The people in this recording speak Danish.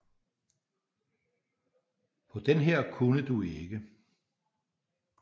På den her kunne du ikke